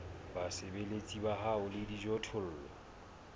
basebeletsi ba hao le dijothollo